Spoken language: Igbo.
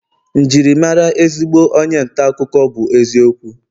Njirimara ezigbo onye nta akụkọ bu eziokwu